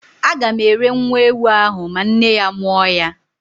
A gam ere nwa ewu ahụ ma nne ya mụọ ya